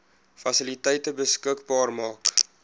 fasiliteite beskikbaar maak